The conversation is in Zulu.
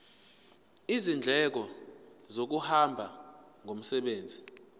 izindleko zokuhamba ngomsebenzi